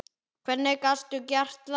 Hvernig gastu gert það?!